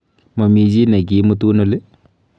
Momii chi nikiimutun oli?